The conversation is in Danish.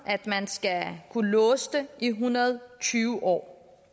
at man skal kunne låse det i en hundrede og tyve år